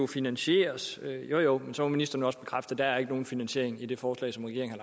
finansieres jo jo men så må ministeren også bekræfte at der ikke er nogen finansiering i det forslag som regeringen